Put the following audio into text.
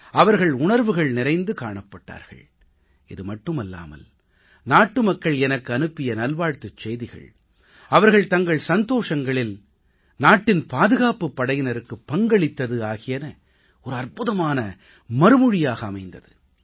அவர்கள் உணர்வுகள் நிறைந்து காணப்பட்டார்கள் இது மட்டுமல்லாமல் நாட்டு மக்கள் எனக்கு அனுப்பிய நல்வாழ்த்துச் செய்திகள் அவர்கள் தங்கள் சந்தோஷங்களில் நாட்டின் பாதுகாப்புப் படையினருக்கு பங்களித்தது ஆகியன அற்புதமான மறுமொழியாக அமைந்தது